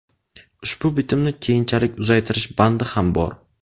Ushbu bitimni keyinchalik uzaytirish bandi ham bor.